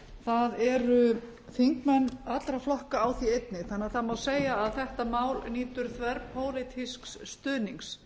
það eru þingmenn allra flokka á því einnig þannig að það má segja að þetta mál nýtur þverpólitísks stuðnings